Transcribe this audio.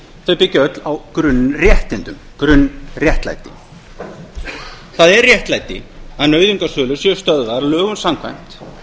þau byggja öll á grunnréttindum grunnréttlæti það er réttlæti að nauðungarsölur séu stöðvaðar lögum samkvæmt